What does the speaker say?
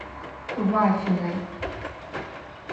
вафиной